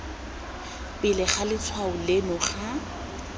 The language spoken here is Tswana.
pele ga letshwao leno ga